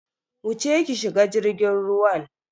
Wuce ki shiga jirgin ruwan.